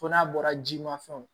Fo n'a bɔra ji ma fɛnw